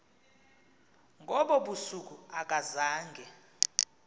ngobo busuku akazange